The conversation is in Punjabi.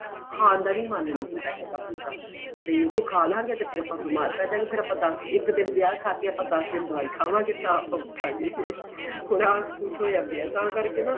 ਖਾਣ ਦਾ ਵੀ ਮਨ ਨਹੀਂ ਹੁੰਦਾ ਹੈਗਾ ਹੁਣ ਤਾਂ ਤੇ ਜ਼ੇ ਖਾਲਾਗੇ ਤੇ ਫ਼ਿਰ ਆਪਾਂ ਬੀਮਾਰ ਪੈਜਾਂਗੇ ਫ਼ੇਰ ਆਪਾਂ ਇੱਕ ਦਿਨ ਵਿਆਹ ਖਾਕੇ ਆਪਾਂ ਦਸ ਦਿਨ ਦਵਾਈ ਖਾਵਾਗੇਂ ਤਾਂ ਆਪਾਂ ਉੱਠਾਗੇ ਹੁਣ ਆਂ ਕੁੱਝ ਹੋਇਆ ਪਿਆ ਤਾਂ ਕਰਕੇ ਨਾ